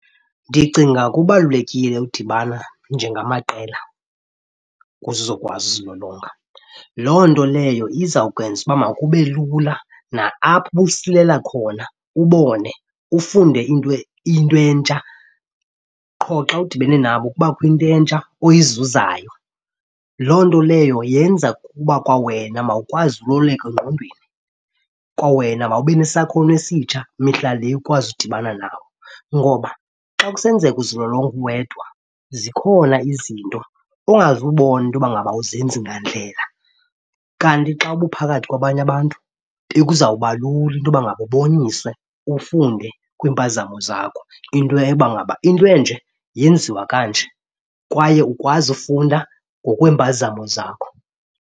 Ndicinga kubalulekile udibana njengamaqela kuze uzokwazi uzilolonga. Loo nto leyo izawukwenza uba makube lula na-apho ubusilela khona ubone ufunde into into entsha, qho xa udibene nabo kubakho into entsha oyizuzayo. Loo nto leyo yenza ukuba kwawena mawukwazi ululeka engqondweni, kwawena mawube nesakhono esitsha mihla le ukwazi udibana nabo. Ngoba xa kusenzeka uzilolonga uwedwa, zikhona izinto ongazubona into yoba ngaba awuzenzi ngandlela. Kanti xa ubuphakathi kwabanye abantu bekuzawuba lula into yoba ngaba uboniswe, ufunde kwiimpazamo zakho into yoba ngaba into enje yenziwa kanje kwaye ukwazi ufunda ngokweempazamo zakho.